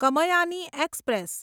Kamayani express